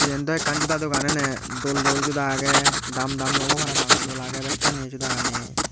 yen daw ekkan joda dogan ene dol dol joda age daam daam dami obo parapang dol age bekkani jodagani.